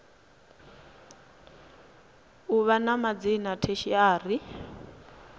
u vha na madzina tertiary